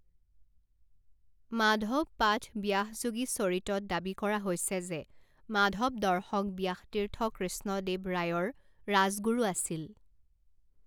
মাধৱ পাঠ ব্যাসযোগীচৰিতত দাবী কৰা হৈছে যে মাধৱ দৰ্শক ব্যাসতীৰ্থ কৃষ্ণদেৱ ৰায়ৰ ৰাজগুৰু আছিল।